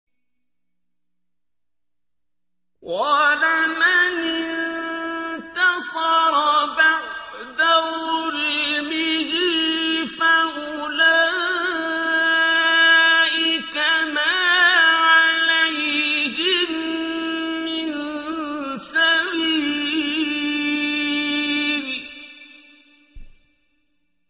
وَلَمَنِ انتَصَرَ بَعْدَ ظُلْمِهِ فَأُولَٰئِكَ مَا عَلَيْهِم مِّن سَبِيلٍ